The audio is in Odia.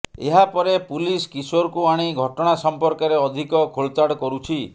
ଏହାପରେ ପୁଲିସ୍ କିଶୋରକୁ ଆଣି ଘଟଣା ସମ୍ପର୍କରେ ଅଧିକ ଖୋଳତାଡ଼ କରୁଛି